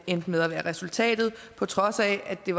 endte med at være resultatet på trods af at det